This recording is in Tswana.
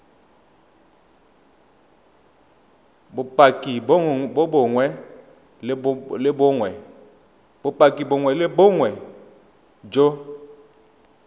bopaki bongwe le bongwe jo